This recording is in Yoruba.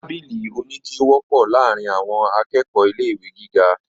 Tábìlì oníke wọ́pọ̀ láàrín àwọn akẹ́kọ̀ọ̀ ilé ìwé gíga.